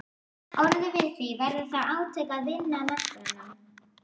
orðið við því, verða þá átök á vinnumarkaðnum?